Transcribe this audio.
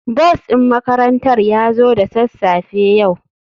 Bus din makarantar ya zo da sassafe yau.